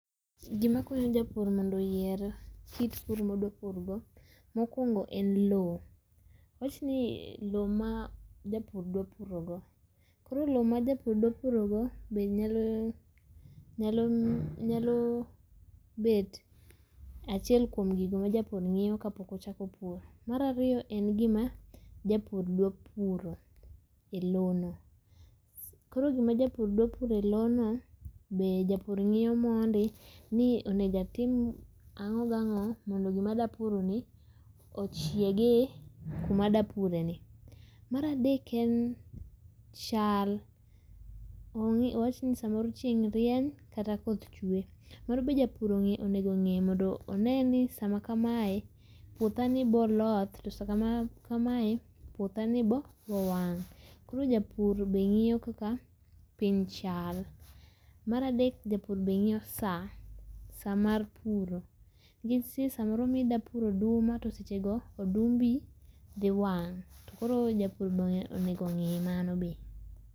Gima konyo jopur mondo oyier kit pur ma odwa pur go mokuongo en loo, awach ni loo ma japur dwa purogo, koro loo ma japur dwa purogo be nyalo ,nyalo nyalo bet achiel kuom gik ma japur ngiyo kapok ochako puro. Mar ariyo en gima japur dwa puro e lono, koro gima japur dwa puro e lono be japur ngiyo mondi ni onego atim ango gi ango mondo gima adwa puroni ochiegi kuma adwa pureni. Mar adek en chal, awach ni samoro chieng rieny kata koth chwee. Mano be japur onego ongi mondo ongeni sam akamae puothani biro loth kata puothani bo wang, koro japur be ngiyo kaka piny chal. Mar adek japur be ngiyo saa, saa mar puro nikech nitie samoro midwa puro oduma tosechego odumbi dhi wang tokoro japur be onego ongi mano be